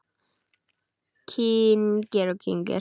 Kyngir og kyngir.